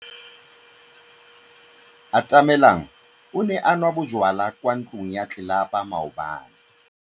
Atamelang o ne a nwa bojwala kwa ntlong ya tlelapa maobane.